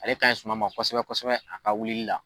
Ale ka ɲi suma ma kosɛbɛ kosɛbɛ a ka wulili la.